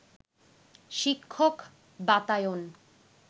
শিক্ষক বাতায়ন